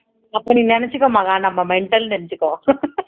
அப்போ நீ நினைச்சுக்கோ மகா நம்ம mental ன்னு நினைச்சுக்கோ